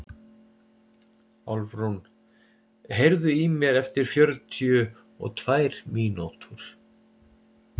Álfrún, heyrðu í mér eftir fjörutíu og tvær mínútur.